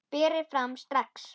Berið fram strax.